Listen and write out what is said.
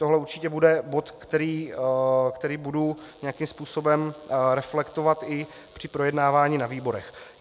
To určitě bude bod, který budu nějakým způsobem reflektovat i při projednávání na výborech.